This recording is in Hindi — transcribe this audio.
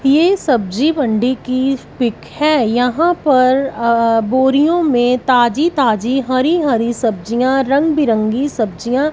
ये सब्जी मंडी की पिक है यहां पर अ बोरियों में ताजी ताजी हरी हरी सब्जियां रंग बिरंगी सब्जियां--